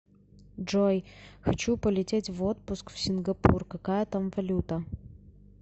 джой хочу полететь в отпуск в сингапур какая там валюта